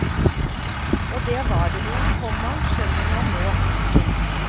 Og det var det jo, komma skjønner man nå. punktum